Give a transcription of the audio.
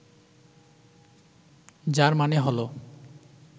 যার মানে হল